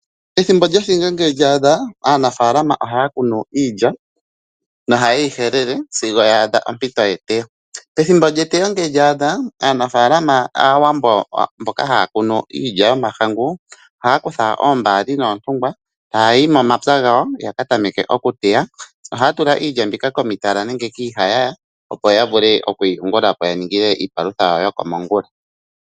Ethimbo lyothinge ngele lya adha, aanafaalama ohaya kunu iilya nohayeyi helele sigo ya adha ompito yeteyo. Ethimbo lyeteyo ngele lya adha, aanafaalama Aawambo mboka haya kunu iilya yomahangu ohaya kutha oombaali nootungwa taayi momapya gawo yakatameke okuteya. Ohaya tula iilya mbika komitala nenge kiihayaya opo ya vule okwiiyugulapo yininge iipalutha yawo yokomongula.